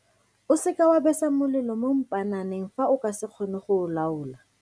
O seka wa besa molelo mo mpaananeng fa o ka se kgone go o laola.